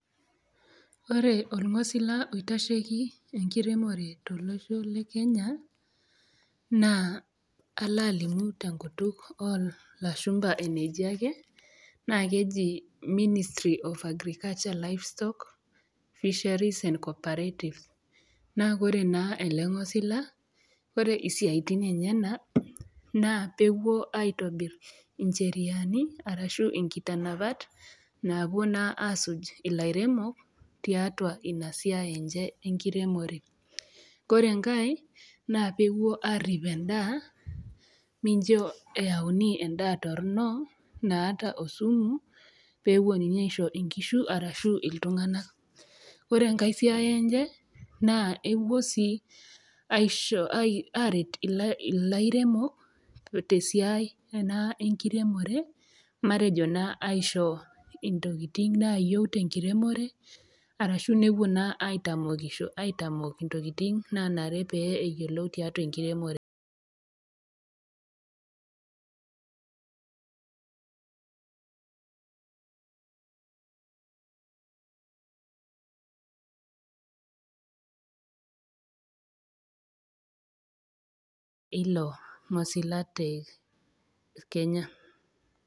Ore olngosiña oitasheki enkiremore te losho le kenya naa alo alimu te inkutuk oolashumba, eneji ake naa keji ministry of agricultural, livestock, fisheries and co-operatives, naa kore naa ale ilngosila, kore isiatin enyena naa peepuo aitobirr incheriani arashu enkitanapat, naapo naa aasuj ilairemok tiatua inasiai enche enkiremore. Ore enkae naa peepuo aarip endaa mincho eyauni endaa torono naata osumu, peeponii aisho enkishu arashu iltunganak. Ore enkae siai enche naa epuo sii aisho, aaret ilairemok te sitai ena enkiremore matejo naa aisho ntokitin naayeu te enkiremore, arashu nepuo naa aitamokisho, aitamok intokitin naanare pee eyiolou tiatua enkiremore eilo ngosila te Kenya.